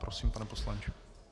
Prosím, pane poslanče.